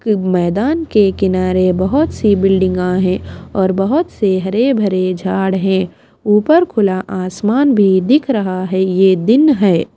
कि मैदान के किनारे बहोत सी बिल्डिंगा का है और बहोत से हरे भरे झाड़ है ऊपर खुला आसमान भी दिख रहा है ये दिन है।